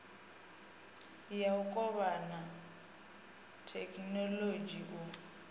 ya u kovhana thekhinolodzhi u